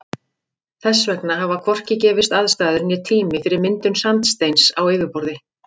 Þess vegna hafa hvorki gefist aðstæður né tími fyrir myndun sandsteins á yfirborði.